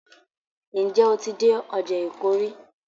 Ǹ jẹ́ o ti dé ọjà Èkó rí?